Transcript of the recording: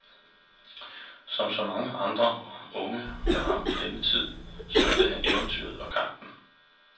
Som så mange andre unge med ham i denne tid, søgte han eventyret og kampen.